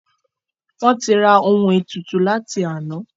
Wọ́n ti ra Ohun ètùtù láti àná